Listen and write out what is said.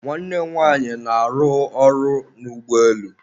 nwanne nwanyị na-arụ ọrụ n'ụgbọelu